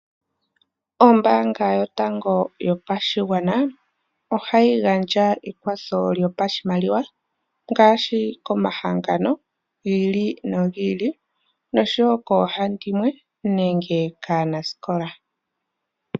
Ombaanga yotango yopashigwana ohayi gandja ekwatho lyopashimaliwa ngaashi komahangano gi ili nogi ili noshowo koohandimwe nenge kaanasikola.